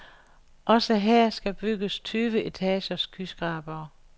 Også her skal bygges tyve etagers skyskrabere.